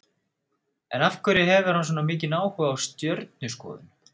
En af hverju hefur hann svona mikinn áhuga á stjörnuskoðun?